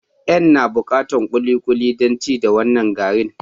N'na bukatan wasu kulikuli dan ci da wanan garin.